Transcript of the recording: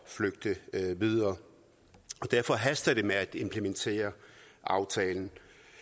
flygte videre derfor haster det med at implementere aftalen